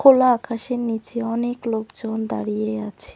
খোলা আকাশের নিচে অনেক লোকজন দাঁড়িয়ে আছে।